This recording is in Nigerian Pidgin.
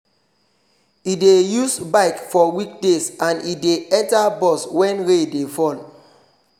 e dey use bike for weekdays and e dey enter bus wen rain dey fall